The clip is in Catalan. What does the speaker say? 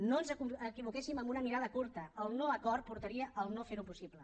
no ens equivoquéssim amb una mirada curta el no acord portaria a no fer ho possible